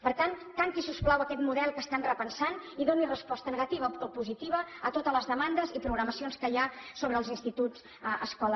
per tant tanqui si us plau aquest model que estan repensant i doni resposta negativa o positiva a totes les demandes i programacions que hi ha sobre els instituts escola